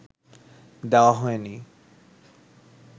দেওয়া হয়নি